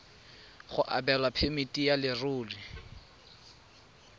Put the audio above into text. go abelwa phemiti ya leruri